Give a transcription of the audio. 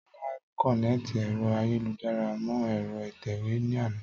Tọ́lá kọ̀nẹ́ẹ́tì ẹ̀rọ ayélujára mọ ẹ̀rọ ìtẹ̀wé ní àná